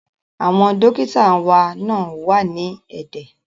Àwọn dókítà wá náà wà ní ẹ̀dẹ̀